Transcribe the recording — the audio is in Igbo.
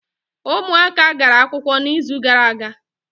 Ụmụaka gara akwụkwọ n’izu gara aga